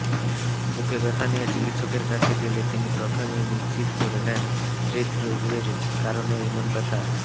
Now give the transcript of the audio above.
বুকে ব্যথা নিয়ে চিকিৎসকের কাছে গেলে তিনি প্রথমেই নিশ্চিত হয়ে নেন হৃদ্রোগের কারণে এমন ব্যথা